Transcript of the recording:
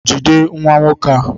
Jide nwa nwoke a!